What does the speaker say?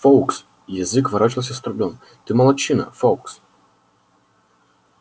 фоукс язык ворочался с трудом ты молодчина фоукс